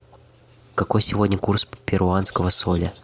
какой сегодня курс перуанского соля